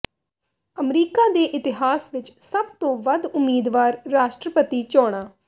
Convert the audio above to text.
America ਦੇ ਇਤਿਹਾਸ ਵਿੱਚ ਸਭ ਤੋਂ ਵੱਧ ਉਮੀਦਵਾਰ ਰਾਸ਼ਟਰਪਤੀ ਚੋਣਾਂ